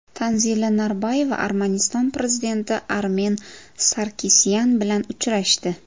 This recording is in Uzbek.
Tanzila Norboyeva Armaniston prezidenti Armen Sarkisyan bilan uchrashdi.